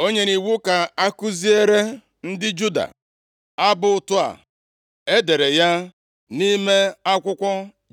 O nyere iwu ka akụziere ndị Juda, abụ ùta a. E dere ya nʼime akwụkwọ